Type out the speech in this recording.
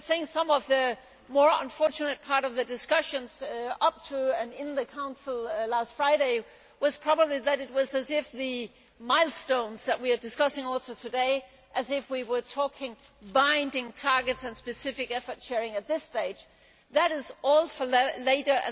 Some of the more unfortunate part of the discussions up to and in the Council last Friday was probably that it was as if the milestones that we are discussing should apply today, as if we were talking binding targets and specific effort sharing at this stage. That is all for later.